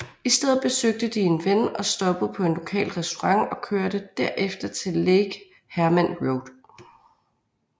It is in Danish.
I stedet besøgte de en ven og stoppede på en lokal restaurant og kørte derefter til Lake Herman Road